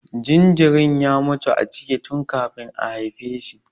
Jinjirin ya mutu a ciki tun kafin a haife shi.